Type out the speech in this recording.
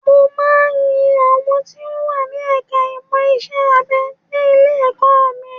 Mo máa ń ń yin àwọn tí wọ́n wà ní ẹ̀ka ìmọ̀ iṣẹ́-abẹ ní ilé-ẹ̀kọ́ mi